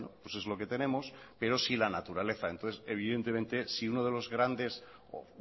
es lo que tenemos pero sí la naturaleza entonces evidentemente si